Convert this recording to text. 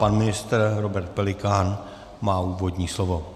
Pan ministr Robert Pelikán má úvodní slovo.